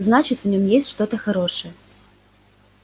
значит в нём есть что-то хорошее